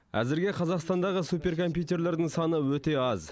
әзірге қазақстандағы суперкомпьютерлердің саны өте аз